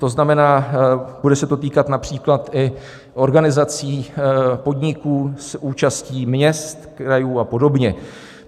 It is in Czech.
To znamená, bude se to týkat například i organizací, podniků s účastí měst, krajů a podobně.